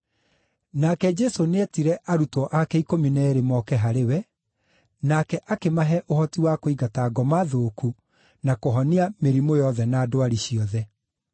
Nake Jesũ nĩetire arutwo ake ikũmi na eerĩ moke harĩ we, nake akĩmahe ũhoti wa kũingata ngoma thũku na kũhonia mĩrimũ yothe na ndwari ciothe.